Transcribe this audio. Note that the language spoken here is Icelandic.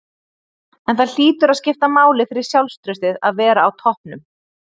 En það hlýtur að skipta máli fyrir sjálfstraustið að vera á toppnum?